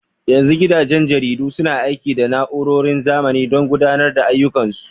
Yanzu gidajen jaridu suna aiki da na'urorin zamani domin gudanar da ayyukan su.